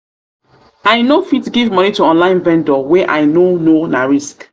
i no fit give moni to online vendor wey i no know na risk.